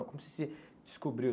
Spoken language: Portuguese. Como você descobriu?